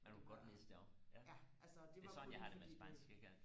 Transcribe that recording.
det var ja altså det var kun fordi det